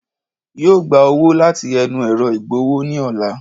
Yóò gba owó láti ẹnu ẹ̀ro ìgbowó ní ọ̀la